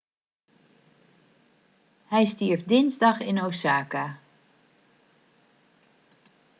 hij stierf dinsdag in osaka